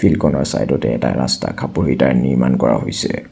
চাইডতে এটা ৰাস্তা খাপৰি নিৰ্মাণ কৰা হৈছে।